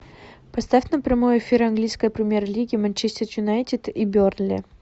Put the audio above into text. поставь нам прямой эфир английской премьер лиги манчестер юнайтед и бернли